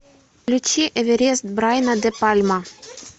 включи эверест брайана де пальма